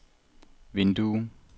vindue